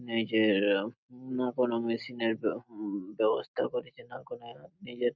নিজের- হুম বা কোনো মেশিন -এর হুম ব্যবস্থা করেছিলাম কোনো যেনো নিজের--